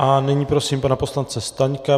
A nyní prosím pana poslance Staňka.